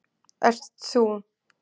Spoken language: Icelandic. ert ÞÚ.